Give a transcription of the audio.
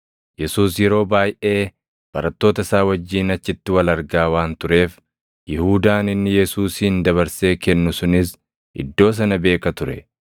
Yesuus yeroo baayʼee barattoota isaa wajjin achitti wal argaa waan tureef, Yihuudaan inni Yesuusin dabarsee kennu sunis iddoo sana beeka ture.